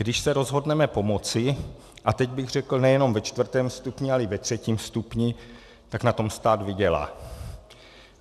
Když se rozhodneme pomoci, a teď bych řekl nejenom ve čtvrtém stupni, ale i ve třetím stupni, tak na tom stát vydělá.